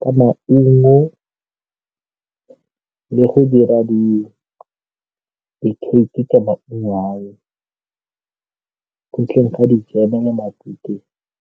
ka maungo le go dira di-cake ka maungo ao, ntleng ga dijeme le matute.